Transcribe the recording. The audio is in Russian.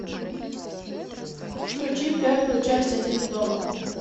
включи первую часть один дома